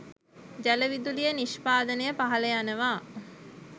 ජල විදුලිය නිෂ්පාදනය පහළ යනවා.